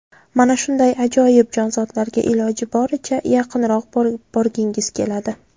Mana shunday ajoyib jonzotlarga iloji boricha yaqinroq borgingiz keladi.